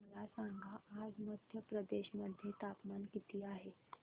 मला सांगा आज मध्य प्रदेश मध्ये तापमान किती आहे